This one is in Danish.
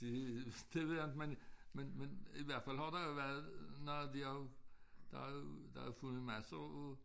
Det det ved jeg inte men men men i hvert fald har der jo været noget de har jo der jo der jo fundet massere af